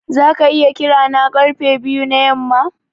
Zaka iya kira na karfe biyu da yamma?